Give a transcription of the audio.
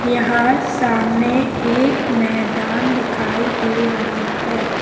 यहां सामने एक मैदान दिखाई दे रहा है।